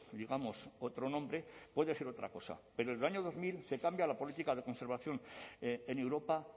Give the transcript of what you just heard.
digamos otro nombre puede ser otra cosa pero el año dos mil se cambia la política de conservación en europa